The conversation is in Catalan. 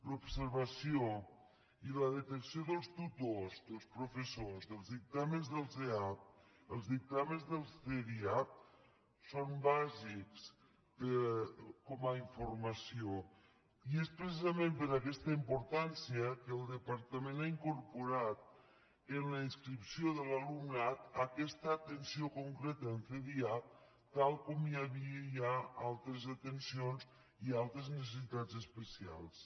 l’observació i la detecció dels tutors dels professors dels dictàmens dels eap els dictàmens dels cdiap són bàsics com a informació i és precisament per aquesta importància que el departament ha incorporat en la inscripció de l’alumnat aquesta atenció concreta en cdiap tal com hi havia ja altres atencions i altres necessitats especials